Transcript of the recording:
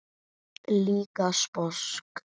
Líka sposk.